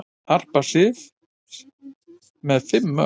Harpa Sif með fimm mörk